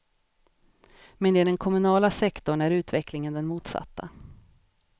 Men i den kommunala sektorn är utvecklingen den motsatta.